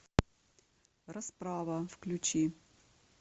расправа включи